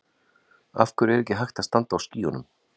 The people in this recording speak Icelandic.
Af hverju er ekki hægt að standa á skýjunum?